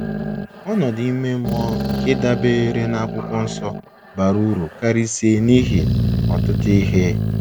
Ọnọdụ ime mmụọ nke dabeere na akwụkwọ nsọ bara uru karịsịa n’ihi ọtụtụ ihe.